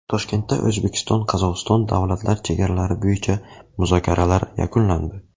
Toshkentda O‘zbekiston – Qozog‘iston davlat chegaralari bo‘yicha muzokaralar yakunlandi.